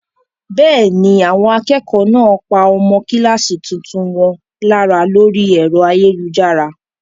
Bẹ́ẹ̀ ni, àwọn akẹ́kọ̀ọ́ náà pa ọmọ kíláàsì tuntun wọn lára lórí ẹ̀rọ ayélujára.